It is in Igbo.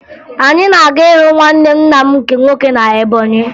Anyị na-aga ịhụ nwanne nna m nke nwoke na Ebọnyị